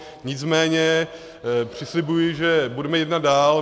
Nicméně přislibuji, že budeme jednat dál.